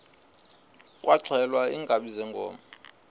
kwaxhelwa iinkabi zeenkomo